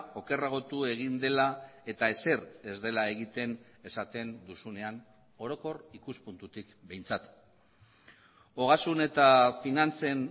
okerragotu egin dela eta ezer ez dela egiten esaten duzunean orokor ikuspuntutik behintzat ogasun eta finantzen